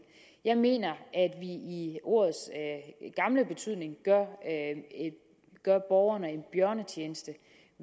jeg mener at vi i ordets gamle betydning gør borgerne en bjørnetjeneste